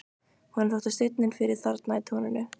Honum þótti steinninn fyrir þarna í túninu.